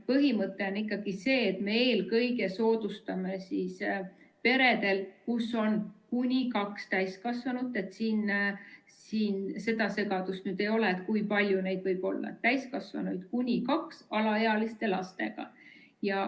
Põhimõte on ikkagi see, et me eelkõige soodustame peresid, kus on kuni kaks täiskasvanut – siin seda segadust nüüd ei ole, kui palju neid võib olla – alaealiste lastega.